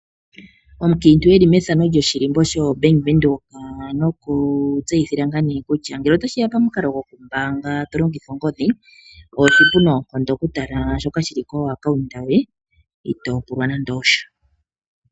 Omunkiintu eli methamo lyoshilimbo sho Bank Windhoek. Oku tseyithila ngaa nee kutya ngele otashi ya momukalo goku mbaanga tolongitha ongodhi oshipu noonkondo okutala shoka shili ko account yoye itoopulwa nande osha.